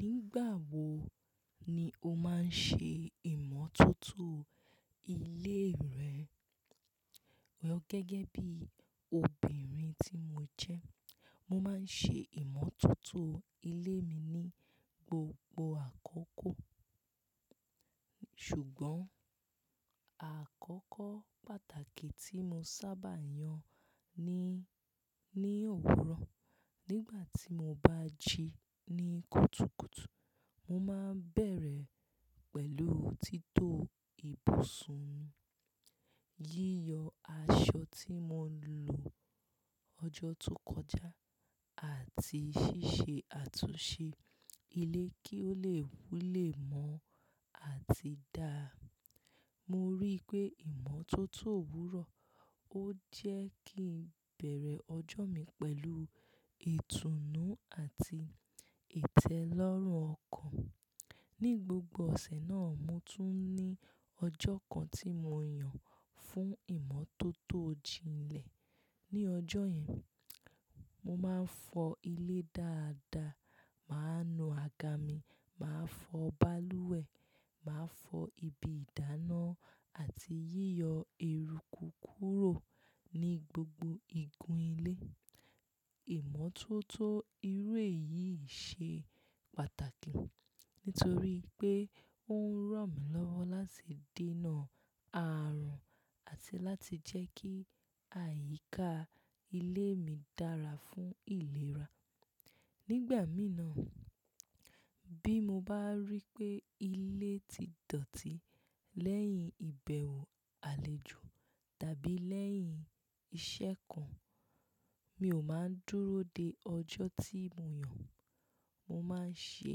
Nígbà wo ni o máa ń ṣe ìmọ́tótó ilé rẹ? Well, gẹ́gẹ́ bí obìnrin tí mo jẹ́, mo máa ń ṣe ìmọ́tótó ilé mi ní gbogbo àkókò. Ṣùgbọ́n àkókò pàtàkì tí mo sábà yàn ní, ní òwúrọ̀. Nígbà tí mo bá jí ní kùtùkùtù, mo máa ń bẹ̀rẹ̀ pẹ̀lú tító ibùsùn mi, yíyọ aṣọ tí mo lò ọjọ́ tó kọjá àti ṣíṣe àtúnṣe ilé kí ó lè wulẹ̀ mọ́ àti dáa. Mo rí pé ìmọ́tótó òwúrọ̀ ó jẹ́ kí n bẹ̀rẹ̀ ọjọ́ mi pẹ̀lú ìtùnú àti ìtẹ́lọ́rùn ọkàn. Ní gbogbo ọ̀sẹ̀ náà, mo tún ní ọjọ́ kan tí mo yàn fún ìmọ́tótó jinlẹ̀. Ní ọjọ́ yẹn, mo máa ń fọ ilé dáadáa, màá nu àga mi, màá fọ balùwẹ̀, màá fọ ibi ìdáná àti yíyọ eruku kúrò ní gbogbo igun ilé. Ìmọ́tótó irú èyí ṣe pàtàkì nítorí pé ó ń ràn mí lọ́wọ́ láti dènà ààrùn àti láti jẹ́ kí àyíká ilé mi dára fún ìlera. Nígbà mìí na bí mo bá rí pé ilé ti dọ̀tí lẹ́yìn ìbẹ̀wò àlejò tàbí lẹ́yìn iṣẹ́ kan, mi ò máa ń dúró dé ọjọ́ tí mo yàn. Mo máa ń ṣe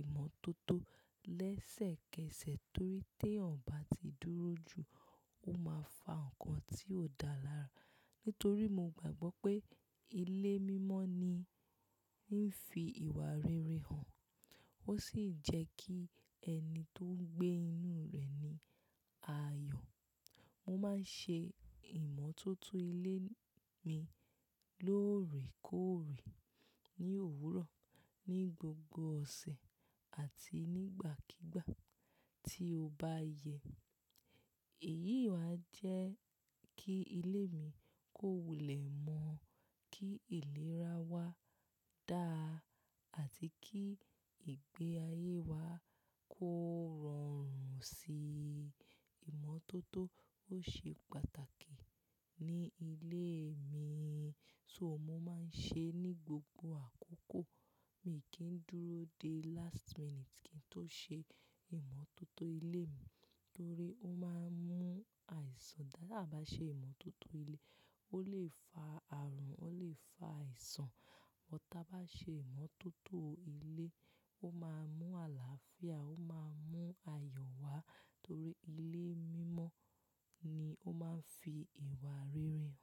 ìmọ́tótó lẹ́sẹ̀kẹsẹ̀ torí tí èèyàn bá ti dúró jù, ó máa fa ǹkan tí ò dáa lára. Nítorí mo gbàgbọ́ pé ilé mímọ́ ni, ní ń fi ìwà rere hàn, ó sì ń jẹ́ kí ẹni tó ń gbé inú rẹ̀ ní àyọ̀. Mo máa ń ṣe ìmọ́tótó ilé mi lóòrèkóòrè ní òwúrọ̀, ní gbogbo ọ̀sẹ̀ àti nígbàkígbà tí ó bá yẹ. Èyí wáa ń jẹ́ kí ilé mi kó wulẹ̀ mọ́, kí ìlera wà dáa àti kí ìgbé ayé wa kó rọrùn síi. Ìmọ́tótó ó ṣe pàtàkì ní ilé mi, so mo máa ń ṣe é ní gbogbo àkókò. Mi kì í dúró dé last minute kí n tó ṣe ìmọ́tótó ilé mi torí ó máa ń mú àìsàn dáadáa. Bá ṣe ìmọ́tótó ilé, ó lè fa àrùn, ó lè fa àìsàn. Wọ́n tá bá ṣe ìmọ́tótó ilé, ó máa mú àlàáfíà, ó máa mú àyọ̀ wá torí ilé mímọ́ ni ó máa ń fi ìwà rere hàn.